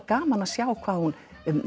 gaman að sjá hvað hún